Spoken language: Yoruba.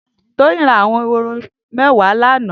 Toyin rà àwọn éhóró mẹwà lànã